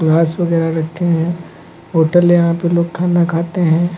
घास वगैरह रखे हैं होटल यहां पे लोग खाना खाते हैं।